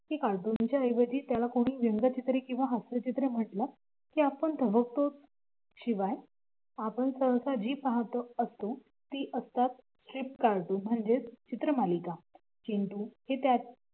ते कार्टूनच्या ऐवजी त्याला कोणी रंगचित्रे हास्य चित्रे म्हटलं की आपण थबकतो शिवाय, आपण जे पाहत असतो ते असतात cheap cartoon म्हणजेच चित्र मालिका हे त्याचे च